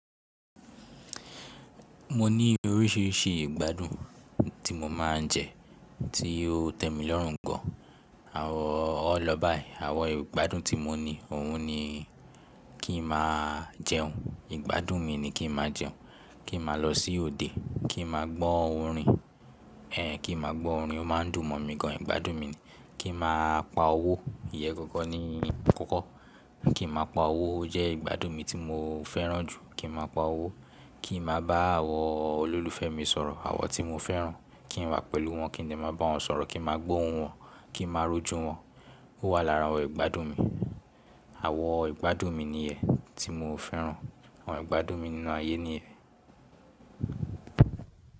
Mo ní oríṣiríṣi ìgbádùn tí mo máa ń jẹ tí ó tẹ́ mi lọ́rùn gan. Àwọ ọ lọ báyìí. Àwọn ìgbádùn tí mo ní òun ni kí n máa jẹun, ìgbádùn mi ni kí n máa jẹun, kí n máa lọ sí òde, kí n máa gbọ́ orin, ẹ kí n máa gbọ́ orin ó máa ń dùn mọ̀ mí gan ìgbádùn mi ni. Kí n máa pa owó, ìyẹ́ gangan nì kokan, kí n máa pa owó jẹ́ ìgbádùn mi tí mo fẹ́ràn jù, kí n máa pa owó, kí n máa bá àwọn olólùfẹ́ mi sọ̀rọ̀, àwọn tí mo fẹ́ràn, kí n wà pẹ̀lú wọn, kí n lè máa bá wọn sọ̀rọ̀, kí n máa gbóhun wọn, kí n máa rojú wọn, ó wà lára àwọn ìgbádùn mi. Àwọn ìgbádùn mi ni ẹ ti mo fẹ́ràn, àwọn ìgbádùn mi nínú ayé ni ẹ.